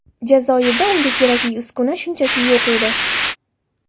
Jazoirda unga kerakli uskuna shunchaki yo‘q edi.